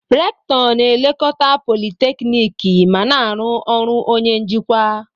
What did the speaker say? Recktọ na-elekọta politekniiki ma na-arụ ọrụ onye njikwa.